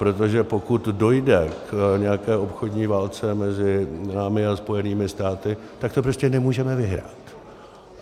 Protože pokud dojde k nějaké obchodní válce mezi námi a Spojenými státy, tak to prostě nemůžeme vyhrát.